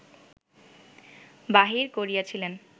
বাহির করিয়াছিলেন